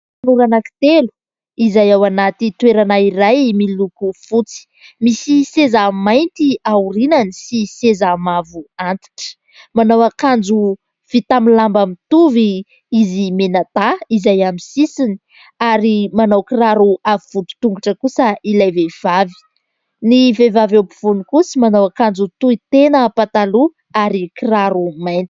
Tanora anankitelo izay ao anaty toerana iray miloko fotsy : misy seza mainty aorianany sy seza mavo antitra, manao akanjo vita amin'ny lamba mitovy izy mianadahy izay amin'ny sisiny ary manao kiraro avo vody tongotra kosa ilay vehivavy, ny vehivavy eo ampovoany kosa manao akanjo tohitena pataloha ary kiraro mainty.